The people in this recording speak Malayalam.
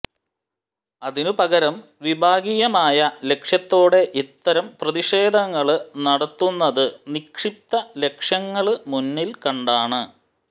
അതിനു പകരം വിഭാഗീയമായ ലക്ഷ്യത്തോടെ ഇത്തരം പ്രതിഷേധങ്ങള് നടത്തുന്നത് നിക്ഷിപ്ത ലക്ഷ്യങ്ങള് മുന്നില് കണ്ടാണ്